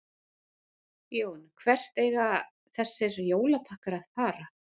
Jón: Hvert eiga þessir jólapakkar að fara?